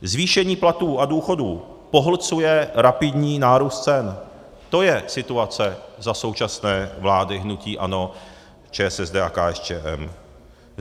Zvýšení platů a důchodů pohlcuje rapidní nárůst cen, to je situace za současné vlády hnutí ANO, ČSSD a KSČM.